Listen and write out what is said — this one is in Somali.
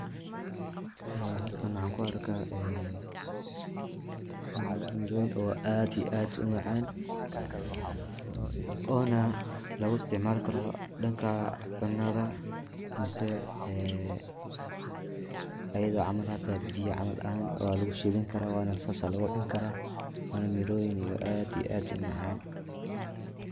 Ee halkan waxan kuarka een, miroyin oo aad iyo aad umacan, ona laguisticmalkaro danka cunada mise ee ayada camal hata biya camal ahan walagushidankaraa, wana sas aya lagucunkara, wana miroyin aad iyo aad umacan.